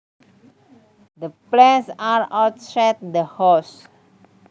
The plants are outside the house